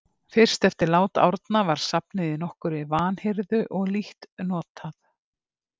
Fyrst eftir lát Árna var safnið í nokkurri vanhirðu og lítt notað.